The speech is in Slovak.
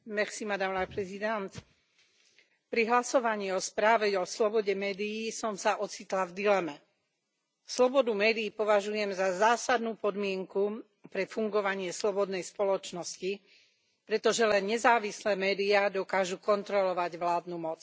Vážená pani predsedajúca, pri hlasovaní o správe o slobode médií som sa ocitla v dileme. Slobodu médií považujem za zásadnú podmienku pre fungovanie slobodnej spoločnosti, pretože len nezávislé médiá dokážu kontrolovať vládnu moc.